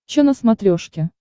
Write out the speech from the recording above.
че на смотрешке